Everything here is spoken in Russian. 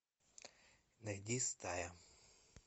найди стая